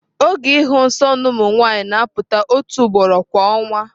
Oge ịhụ nsọ na ụmụ nwanyị na-apụta otu ugboro kwa ọnwa.